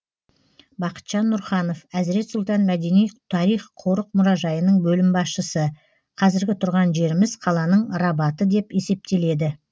бақытжан нұрханов әзірет сұлтан мәдени тарих қорық мұражайының бөлім басшысы қазіргі тұрған жеріміз қаланың рабаты деп есептеледі